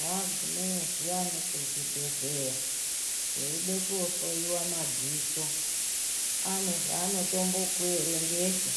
Wagumeyo zviyani kuzvibhedhlera weide kohloyiwe madziso, anezvaanotombo kuerengesa